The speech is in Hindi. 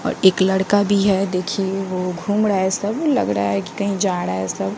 और एक लड़का भी है देखिये वो घूम रहा है सब लग रहा है कि कहीं जा रा सब।